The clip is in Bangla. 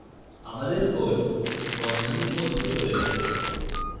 আমাদের code বন্ধনীর মধ্যে চলে যাবে